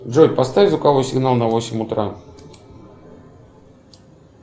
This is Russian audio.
джой поставь звуковой сигнал на восемь утра